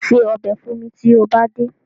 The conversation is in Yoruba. Ṣe ọbẹ̀ fún mi tó bá dé.